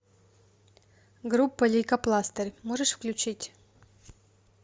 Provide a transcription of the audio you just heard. группа лейкопластырь можешь включить